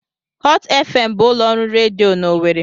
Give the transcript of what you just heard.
Hot FM bụ ụlọ ọrụ redio dị n'Owerri.